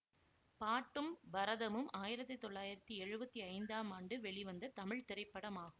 பாட்டும் பரதமும் ஆயிரத்தி தொள்ளாயிரத்தி எழுவத்தி ஐந்தாம் ஆண்டு வெளிவந்த தமிழ் திரைப்படமாகும்